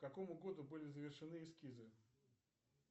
к какому году были завершены эскизы